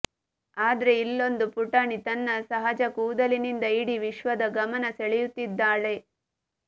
ಆದ್ರೆ ಇಲ್ಲೊಂದು ಪುಟಾಣಿ ತನ್ನ ಸಹಜ ಕೂದಲಿನಿಂದ ಇಡೀ ವಿಶ್ವದ ಗಮನ ಸೆಳೆಯುತ್ತಿದ್ದಾಳೆ